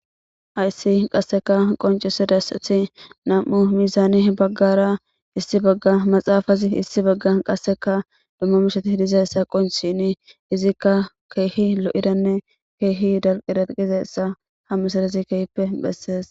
Hayssi qasseka qoncise dassathi nam'u misaani baggara issi bagga maxaafazi issi bagga qasseka dummo mishati hidizassa qonchini izikka keehi lo'idanne keehi dalqiraqizeyssa hammusarezi kehppe bhessees